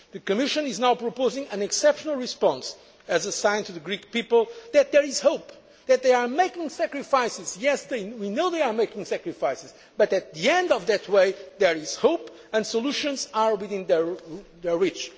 Greek people. The Commission is now proposing an exceptional response as a sign to the Greek people that there is hope. They are making sacrifices, and we know they are making sacrifices, but at the end of that road there is hope, and solutions are within